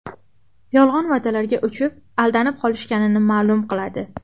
Yolg‘on va’dalarga uchib, aldanib qolishganini ma’lum qiladi.